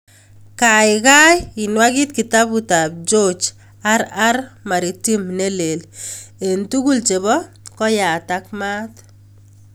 Gaigai inwagit kitabutab George r.r.maritin nelel eng' tugul nebo koyat ak maat